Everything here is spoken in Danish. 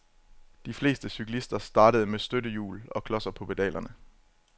De fleste cyklister startede med støttehjul og klodser på pedalerne.